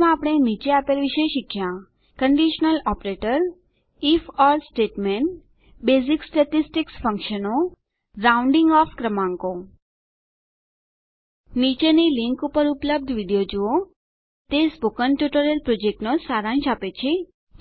સારાંશમાં આપણે નીચે આપેલ વિશે શીખ્યાં conditional operator if or statement basic statistics ફંક્શનો રાઉંન્ડીંગ ઓફ પૂર્ણાંકીત કરેલ ક્રમાંકો નીચેની લીંક ઉપર ઉપલબ્ધ વિડીયો જુઓ તે સ્પોકન ટ્યુટોરીયલ પ્રોજેક્ટનો સારાંશ આપે છે